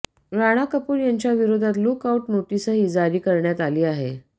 राणा कपूर यांच्या विरोधात look out नोटीसही जारी करण्यात आलं आहे